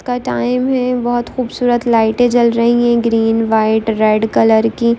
का टाइम है बहुत खूबसूरत लाइटें जल रही है ग्रीन व्हाइट रेड कलर की --